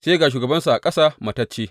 Sai ga shugabansu a ƙasa matacce.